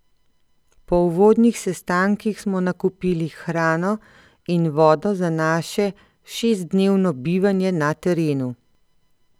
Po uvodnih sestankih smo nakupili hrano in vodo za naše šestdnevno bivanje na terenu.